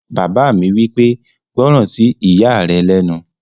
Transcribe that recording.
Bàbá mi wí pé, "gbọ́ràn sí ìyá rẹ lẹ́nu!"